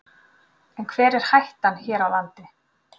En hver er hættan hér á landi?